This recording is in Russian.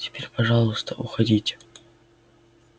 теперь пожалуйста уходите